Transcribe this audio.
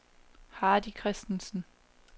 Hardy Christensen